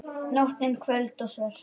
Nóttin köld og svört.